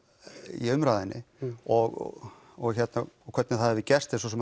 í umræðunni og og og hvernig það hefur gerst er svo sem